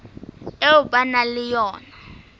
eo ba nang le yona